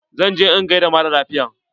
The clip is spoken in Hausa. Zan je in gaida maralafiyan.